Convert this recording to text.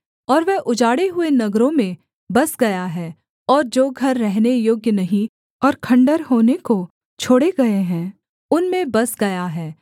और वह उजाड़े हुए नगरों में बस गया है और जो घर रहने योग्य नहीं और खण्डहर होने को छोड़े गए हैं उनमें बस गया है